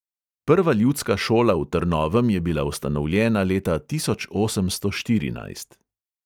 Prva ljudska šola v trnovem je bila ustanovljena leta tisoč osemsto štirinajst.